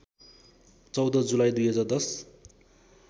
१४ जुलाई २०१०